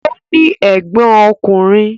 Ó ní ẹ̀gbọ́n ọkùnrin.